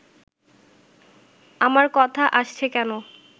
আমার কথা আসছে কেন